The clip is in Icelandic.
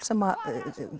sem